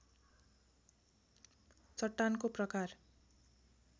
चट्टानको प्रकार